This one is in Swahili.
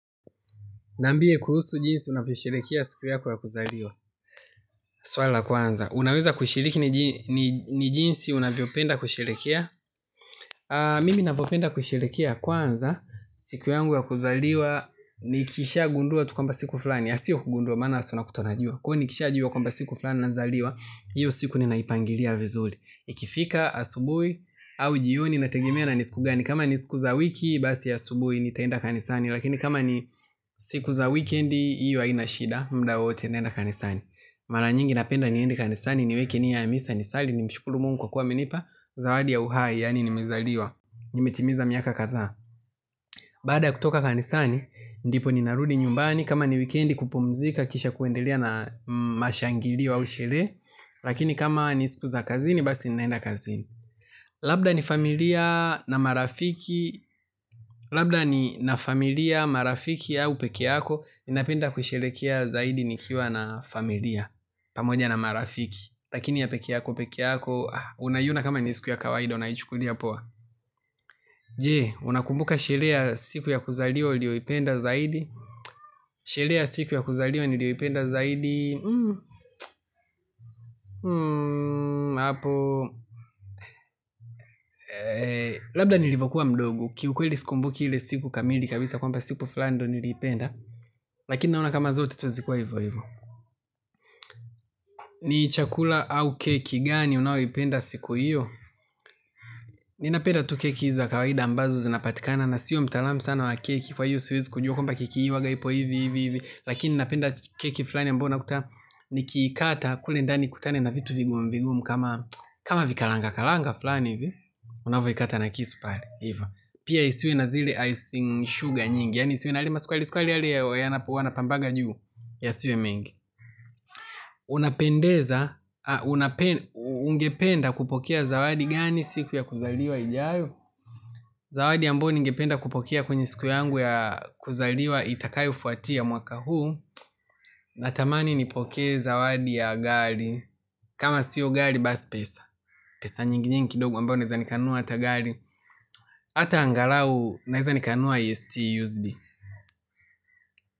Niambie kuhusu jinsi unavyo sherehekea siku yako ya kuzaliwa. Swalila kwanza. Unaweza kushiriki ni jinsi unavyo penda kusherehekea? Mimi navyopenda kusherehekea kwanza. Siku yangu ya kuzaliwa. Nikisha gundua tukwamba siku fulani. Asio kugundua maana si una kutaunajua. Kwahiyo nikisha jua kwamba siku fulani na zaliwa. Hiyo siku ninaipangilia vizuri. Ikifika asubuhi au jio ni inategemea na nisikugani. Kama nisiku za wiki basi asubuhi ni taenda kanisani. Lakini kama ni siku za weekendi hiyo hainashida mudawowote naenda kanisani. Mara nyingi napenda niende kanisani ni wekenia ya misa ni sali ni mshukuru mungu kwa kuwa amenipa. Zawadi ya uhai yaani ni mezaliwa nimetimiza miaka kadhaa baada ya kutoka kanisani ndipo ninarudi nyumbani kama ni weekendi kupumzika kisha kwendelea na mashangilio au sherehe. Lakini kama ni siku za kazini basi naenda kazini. Labda ni familia na marafiki. Labda ni na familia, marafiki au pekeeyako. Ninapenda kusherehekea zaidi nikiwa na familia pamoja na marafiki. Lakini ya pekeeyako, pekeeyako. Unaiyona kama ni siku ya kawaida, unaichukulia poa. Je, unakumbuka shereheya siku ya kuzaliwa uliyoipenda zaidi. Shereheya siku ya kuzaliwa ni liyoipenda zaidi. Hmm, hmm, hapo. Labda nilivyokuwa mdogo. Ki ukweli siku mbuki ile siku kamili kabisa kwa mba siku fulanindo niliipenda lakini naona kama zote tu zilikua hivyo hivyo ni chakula au keki gani unayoipenda siku hiyo. Nina penda tu keki hizi zakawaida ambazo zinapatikana. Na sio mtaalamu sana wa keki kwa hiyo siwezi kujua kwamba keki hii huwagaipo hivi hivi hivi. Lakini napenda keki fulani ambayouna kuta nikiikata kule ndani nikutane na vitu vigumuvigumu kama vikalanga kalanga fulani hivi. Unavo ikata na kisu pale hivyo. Pia isiwe nazile icing sugar nyingi. Yaani isiwe nayalema sukari sukari yale ya wanapambaga juu ya siwe mengi. Unapendeza, ungependa kupokea zawadi gani siku ya kuzaliwa ijayo. Zawadi ambayoni ngependa kupokea kwenye siku yangu ya kuzaliwa itakayo fuati ya mwaka huu. Natamani nipokee zawadi ya gari. Kama sio gari basi pesa pesa nyingi nyingi kidogo ambayo naweza nikanunua ata gari. Ata angalau naweza nikanua IST USD.